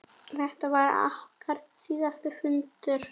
Þetta varð okkar síðasti fundur.